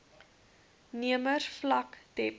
nemers vlak dept